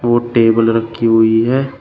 वो टेबल रखी हुई है।